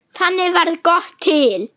Þannig varð GOTT til.